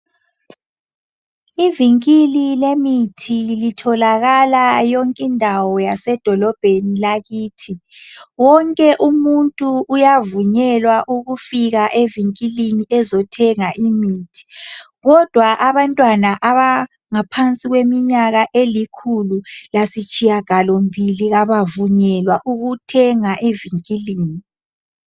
Ivinkili lemithi litholakala yonke indawo yasedolobheni lakithi wonke umuntu yavunyelwa ukufika evinkilini ezothenga imithi kodwa abantwana abangaphansi kweminyaka elikhulu lasitshiyagalo mbili abavunyelwa ukuthenga evinkilini.